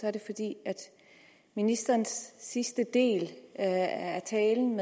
er det fordi ministerens sidste del af talen